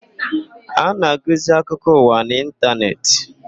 A na-agụzi akụkọ ụwa n'ịntanetị.